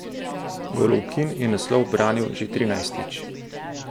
Golovkin je naslov ubranil že trinajstič.